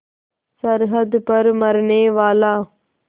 सरहद पर मरनेवाला